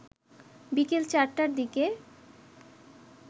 বিকেল চারটার দিকে